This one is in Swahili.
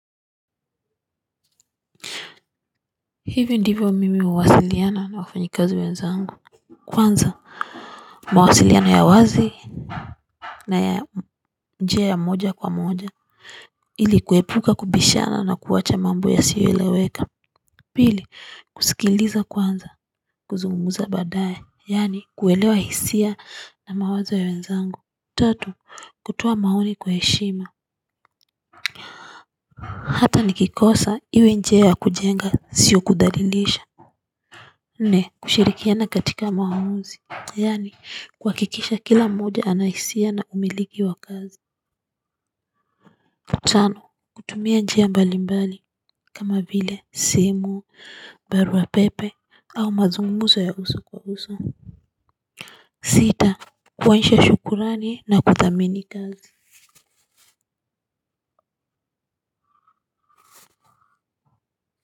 Hivi ndivyo mimi huwasiliana na wafanyikazi wenzangu kwanza mawasiliana ya wazi na ya njia ya moja kwa moja ili kuepuka kubishana na kuwacha mambo yasieleweka pili kusikiliza kwanza kuzungumza baadaye yani kuelewa hisia na mawazo ya wenzangu tatu kutoa maoni kwa heshima hata nikikosa iwe njia ya kujenga siyo kudhalilisha nne kushirikiana katika maamuzi. Yani kuhakikisha kila mmoja ana hisia na umiliki wa kazi tano kutumia njia mbalimbali kama vile simu barua pepe au mazungumzo ya uso kwa uso. Sita kuonyesha shukurani na kuthamini kazi.